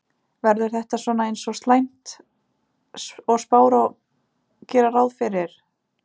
Verður þetta svona eins slæmt og spár gera ráð fyrir?